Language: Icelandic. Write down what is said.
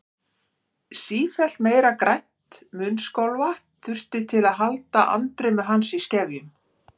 Sífellt meira grænt munnskolvatn þurfti til að halda andremmu hans í skefjum.